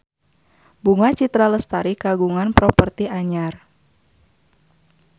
Bunga Citra Lestari kagungan properti anyar